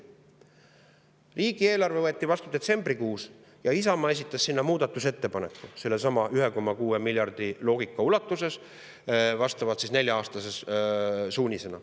Riigieelarve võeti vastu detsembrikuus ja Isamaa esitas selle kohta muudatusettepaneku sellesama 1,6 miljardi loogika ulatuses, vastavalt nelja-aastase suunisena.